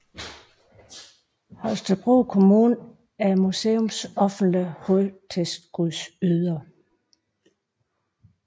Holstebro Kommune er museets offentlige hovedtilskudsyder